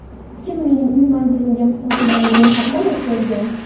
Kim mening uy manzilimga muhojirlarni ro‘yxatdan o‘tkazgan?